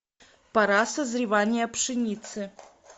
пора созревания пшеницы